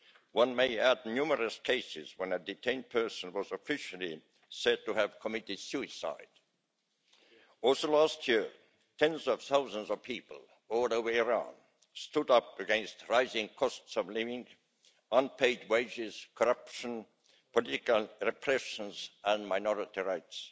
One may add numerous cases when a detained person was officially said to have committed suicide. Also last year tens of thousands of people all over Iran stood up against the rising costs of living, unpaid wages, corruption, political repressions and minority rights.